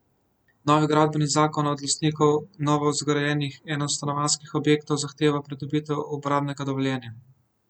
Novi gradbeni zakon od lastnikov novozgrajenih enostanovanjskih objektov zahteva pridobitev uporabnega dovoljenja.